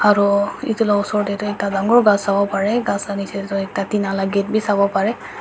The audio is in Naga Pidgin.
Aro etu la usor tey tu ekta dangor bus ahibo bare khass la nechey tetu tate nala gate beh sabo bare.